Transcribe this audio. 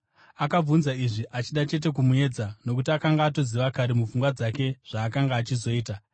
Akabvunza izvi achida chete kumuedza, nokuti akanga atoziva kare mupfungwa dzake zvaakanga achizoita.